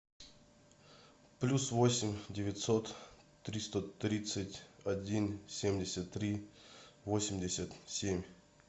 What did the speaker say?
плюс восемь девятьсот триста тридцать один семьдесят три восемьдесят семь